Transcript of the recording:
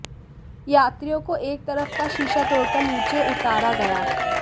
यात्रियों को एक तरफ का शीशा तोड़कर नीचे उतारा गया